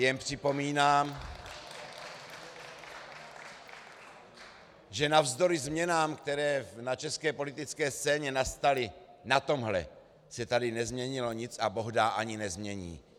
Jen připomínám, že navzdory změnám, které na české politické scéně nastaly, na tomhle se tady nezměnilo nic a bohdá ani nezmění.